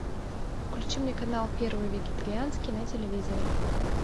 включи мне канал первый вегетарианский на телевизоре